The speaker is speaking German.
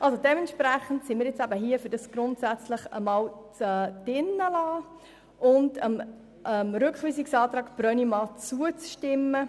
Dementsprechend sind wir hier dafür, «grundsätzlich» zu belassen und dem Rückweisungsantrag Brönnimann zuzustimmen.